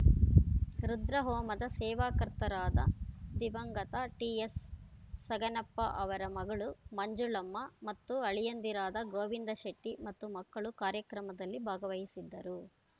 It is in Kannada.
ರುದ್ರಹೋಮದ ಸೇವಾಕರ್ತರಾದ ದಿವಂಗತ ಟಿಎಚ್‌ಸಗನಪ್ಪ ಅವರ ಮಗಳು ಮಂಜುಳಮ್ಮ ಮತ್ತು ಅಳಿಯಂದಿರಾದ ಗೋವಿಂದಶೆಟ್ಟಿಮತ್ತು ಮಕ್ಕಳು ಕಾರ್ಯಕ್ರಮದಲ್ಲಿ ಭಾಗವಹಿಸಿದ್ದರು